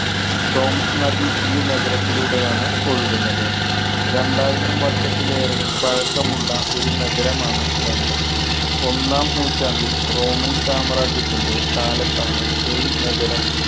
ടോംസ് നദി ഈ നഗരത്തിലൂടെയാണ് ഒഴുകുന്നത്. രണ്ടായിരം വർഷത്തിലേറെ പഴക്കമുള്ള ഒരു നഗരമാണ് ലണ്ടൻ. ഒന്നാം നൂറ്റാണ്ടിൽ റോമൻ സാമ്രാജ്യത്തിന്‍റെ കാലത്താണ് ഈ നഗരം